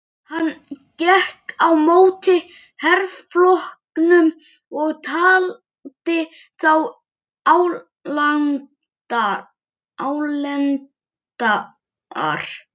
Gulla löggu sem kom heim og var alveg í rusli.